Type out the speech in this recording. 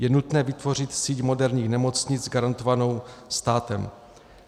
Je nutné vytvořit síť moderních nemocnic garantovanou státem.